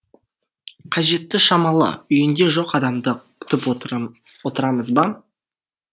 қажеті шамалы үйінде жоқ адамды күтіп отырамыз ба